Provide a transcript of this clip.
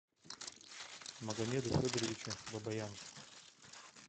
магомеду федоровичу бабаян